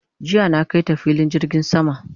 jiya na kaita filin jirgin sama